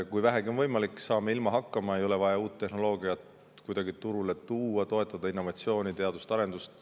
Kui vähegi on võimalik, saame ilma hakkama, ei ole vaja uut tehnoloogiat kuidagi turule tuua, toetada innovatsiooni, teadus- ja arendustegevust.